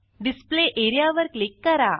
display एरियावर click करा